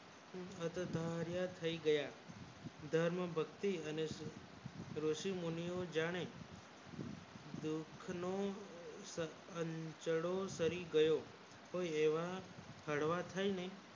બધું ધાહાણ્ય થાય ગયા ધર્મ ભક્તિ અને ઋષિ મુનિ ઓ જાણે દુઃખ નો ચાચળો કરી ગયો કોઈ એવા હળવા થય ને